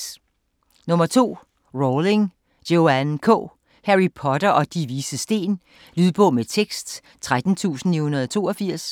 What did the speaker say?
Rowling, Joanne K.: Harry Potter og De Vises Sten Lydbog med tekst 13982